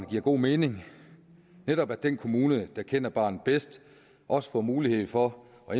giver god mening netop at den kommune der kender barnet bedst også får mulighed for at